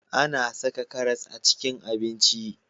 A na saka karas a cikin abinci